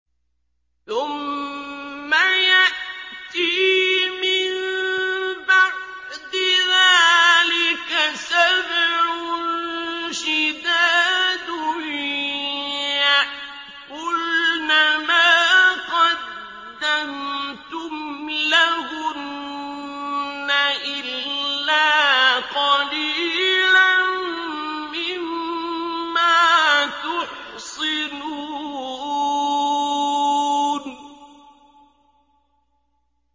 ثُمَّ يَأْتِي مِن بَعْدِ ذَٰلِكَ سَبْعٌ شِدَادٌ يَأْكُلْنَ مَا قَدَّمْتُمْ لَهُنَّ إِلَّا قَلِيلًا مِّمَّا تُحْصِنُونَ